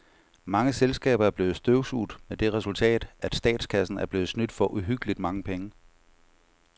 Mange selskaber er blevet støvsuget med det resultat, at statskassen er blevet snydt for uhyggeligt mange penge.